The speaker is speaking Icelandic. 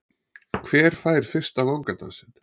Hver fær fyrsta vangadansinn?